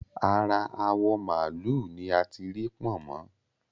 Ara awọ̀ màálù ni a tí Pọ̀nmọ́